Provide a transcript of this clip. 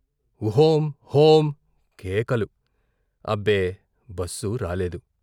ఒహోం హోం కేకలు, అబ్బే బస్సు రాలేదు.